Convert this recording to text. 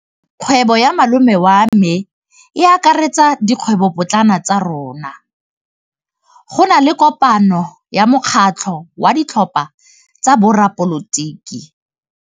Kgwêbô ya malome wa me e akaretsa dikgwêbôpotlana tsa rona. Go na le kopanô ya mokgatlhô wa ditlhopha tsa boradipolotiki.